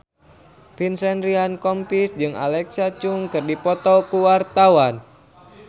Vincent Ryan Rompies jeung Alexa Chung keur dipoto ku wartawan